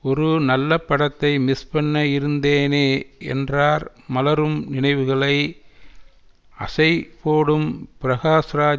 ஒரு நல்ல படத்தை மிஸ் பண்ண இருந்தேனே என்றார் மலரும் நினைவுகளை அசை போடும் பிரகாஷ்ராஜ்